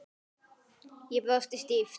Ég brosi stíft.